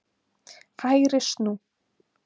HÆGRI snú.